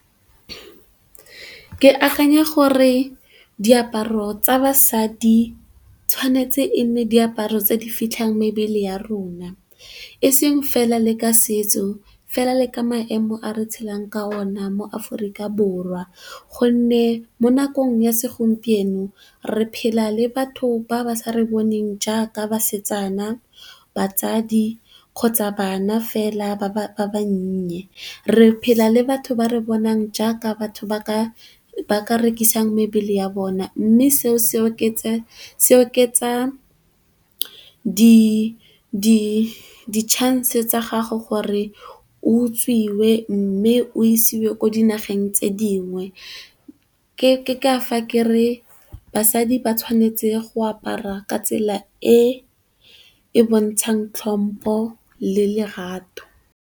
Ke akanya gore diaparo tsa basadi tshwanetse e nne diaparo tse di fitlhang mebele ya rona, e seng fela le ka setso fela le ka maemo a re tshelang ka ona mo aforika borwa. Gonne mo nakong ya segompieno re phela le batho ba ba sa re boneng jaaka basetsana, batsadi kgotsa bana fela ba ba bannye. Re phela le batho ba re bonang jaaka batho ba ka rekisang mebele ya bona, mme se oketsa di chance tsa gago gore o utswitswe mme o isiwe ko dinageng tse dingwe. Ke ka fa Ke re basadi ba tshwanetse go apara ka tsela e e bontshang tlhompo le lerato.